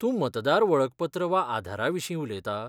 तूं मतदार वळखपत्र वा आधारा विशीं उलयतां?